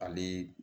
Ale